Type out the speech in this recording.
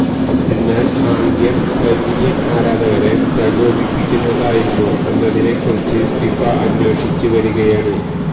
എന്നാല് ആംഗ്യം സെര്ബിയന് ആരാധകരെ പ്രകോപിപ്പിക്കുന്നതായിരുന്നോ എന്നതിനെ കുറിച്ച് ഫിഫ അന്വേഷിച്ച് വരികയാണ്